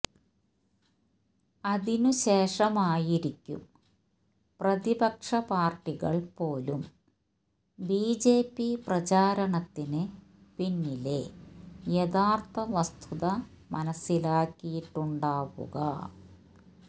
അതിനുശേഷമായിരിക്കും പ്രതിപക്ഷപ്പാര്ട്ടികള് പോലും ബിജെപി പ്രചാരണത്തിന് പിന്നിലെ യഥാര്ത്ഥ വസ്തുത മനസിലാക്കിയിട്ടുണ്ടാവുക